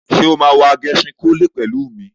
Ṣé o máa wo Agẹṣinkólé pẹ̀lú mi?